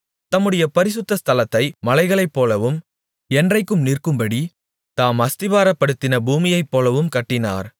தம்முடைய பரிசுத்த ஸ்தலத்தை மலைகளைப்போலவும் என்றைக்கும் நிற்கும்படி தாம் அஸ்திபாரப்படுத்தின பூமியைப்போலவும் கட்டினார்